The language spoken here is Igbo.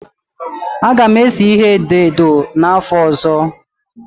A ga m ese ihe edo edo n'afọ ọzọ